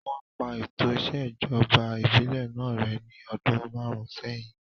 Wọ́n pa ètò ìṣèjọba ìbílẹ̀ náà rẹ́ ní ọdún márùn sẹ́yìn